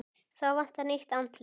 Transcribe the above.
Þá vantar nýtt andlit.